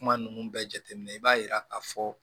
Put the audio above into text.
Kuma ninnu bɛɛ jateminɛ i b'a yira k'a fɔ